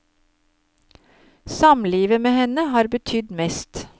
Samlivet med henne har betydd mest.